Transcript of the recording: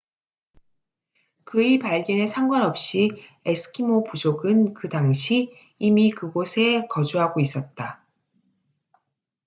그의 발견에 상관없이 에스키모 부족은 그 당시 이미 그곳에 거주하고 있었다